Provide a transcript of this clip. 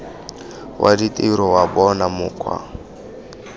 wa ditiro wa bona mokgwa